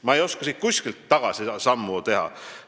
Ma ei oska siit kuskilt tagasisammu teha.